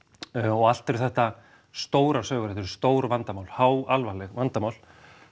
og allt eru þetta stórar sögur stór vandamál háalvarleg vandamál